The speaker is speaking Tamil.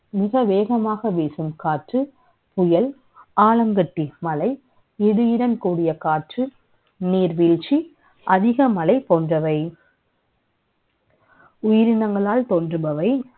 மிக வே கமாகவசுீ ம் காற்று, புயல், ஆலங்கட்டி மழை, இடியுடன்கூடிய காற்று, நீர்வழ்ீ ச்சி, அதிகமலை ப ோன்றவை